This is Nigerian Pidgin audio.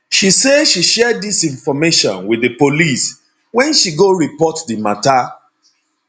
she say she share dis information wit di police wen she go report di mata